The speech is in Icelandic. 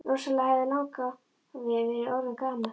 Rosalega hefði langafi verið orðinn gamall!